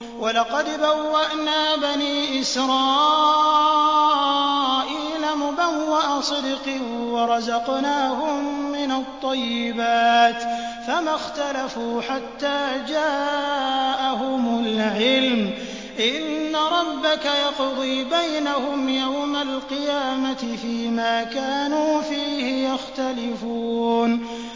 وَلَقَدْ بَوَّأْنَا بَنِي إِسْرَائِيلَ مُبَوَّأَ صِدْقٍ وَرَزَقْنَاهُم مِّنَ الطَّيِّبَاتِ فَمَا اخْتَلَفُوا حَتَّىٰ جَاءَهُمُ الْعِلْمُ ۚ إِنَّ رَبَّكَ يَقْضِي بَيْنَهُمْ يَوْمَ الْقِيَامَةِ فِيمَا كَانُوا فِيهِ يَخْتَلِفُونَ